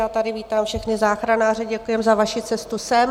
Já tady vítám všechny záchranáře , děkujeme za vaši cestu sem.